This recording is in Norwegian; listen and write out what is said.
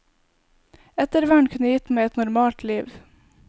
Ettervern kunne gitt meg et normalt liv.